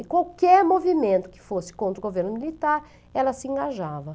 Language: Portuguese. E qualquer movimento que fosse contra o governo militar, ela se engajava.